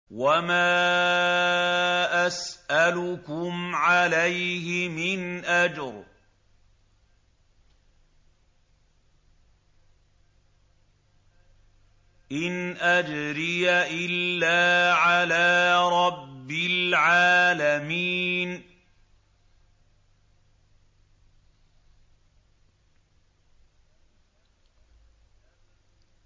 وَمَا أَسْأَلُكُمْ عَلَيْهِ مِنْ أَجْرٍ ۖ إِنْ أَجْرِيَ إِلَّا عَلَىٰ رَبِّ الْعَالَمِينَ